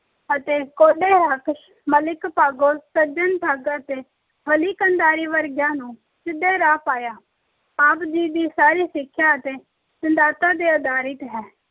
ਅਤੇ ਹੱਥ ਮਲਿਕ ਭਾਗੋ, ਸੱਜਣ ਠੱਗ ਅਤੇ ਵਲੀ ਕੰਧਾਰੀ ਵਰਗਿਆਂ ਨੂੰ ਸਿੱਧੇ ਰਾਹ ਪਾਇਆ। ਆਪ ਜੀ ਦੀ ਸਾਰੀ ਸਿੱਖਿਆ ਤਿੰਂਨ ਸਿਧਾਂਤਾਂ ਤੇ ਅਧਾਰਿਤ ਹੈ।